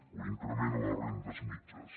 o increment a les rendes mitjanes